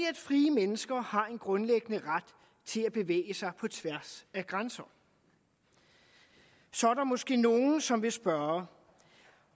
at frie mennesker har en grundlæggende ret til at bevæge sig på tværs af grænser så er der måske nogen som vil spørge